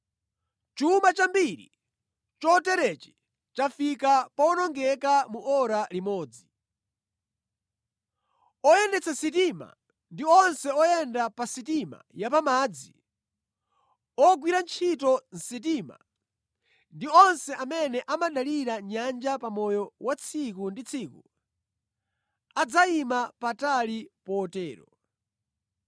Chuma chambiri choterechi chafika powonongeka mu ora limodzi!’ “Oyendetsa sitima ndi onse oyenda pa sitima ya pamadzi, ogwira ntchito mʼsitima ndi onse amene amadalira nyanja pamoyo wa tsiku ndi tsiku adzayima patali potero.